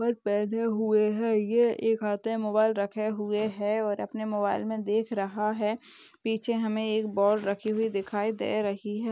पहने हुए हैं। ये एक हाथ में मोबाइल रखे हुए हैं और अपने मोबाइल में देख रहा है। पीछे हमें एक बॉल रखी हुई दिखाई दे रही हैं।